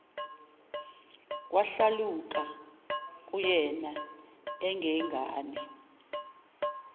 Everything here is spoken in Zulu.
kwahlaluka kuyena engengane